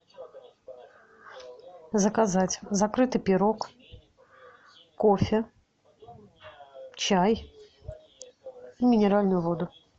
заказать закрытый пирог кофе чай и минеральную воду